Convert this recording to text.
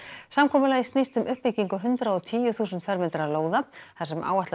samkomulagið snýst um uppbyggingu hundrað og tíu þúsund fermetra lóða þar sem áætlað